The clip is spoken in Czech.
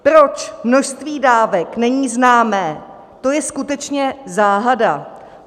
Proč množství dávek není známé, to je skutečně záhada.